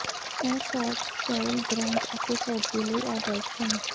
ਇਹ shorts style grunge ਅਤੇ ਫੌਜੀ ਲਈ ਆਦਰਸ਼ ਹਨ